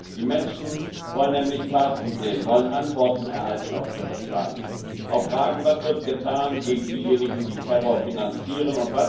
Die Menschen wollen nämlich Taten sehen, wollen Antworten erhalten auf ihre Fragen Was wird getan gegen diejenigen, die Terror finanzieren?